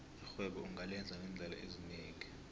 irhwebo ungalenza ngeendlela ezinengi